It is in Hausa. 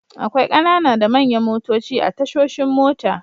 Akwai ƙanana da manyan motoci a tashoshin mota.